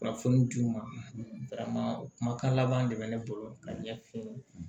Kunnafoni di u ma kumakan laban de bɛ ne bolo ka ɲɛ f'u ye